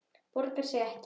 Borgar sig ekki?